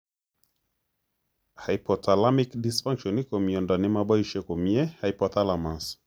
Hypothalamic dysfunction ko myondo ne moboisei komye hypothalamus